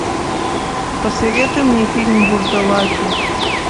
посоветуй мне фильм вурдалаки